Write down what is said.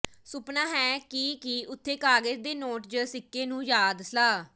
ਸੁਪਨਾ ਹੈ ਕਿ ਕੀ ਉੱਥੇ ਕਾਗਜ਼ ਦੇ ਨੋਟ ਜ ਸਿੱਕੇ ਨੂੰ ਯਾਦ ਸਲਾਹ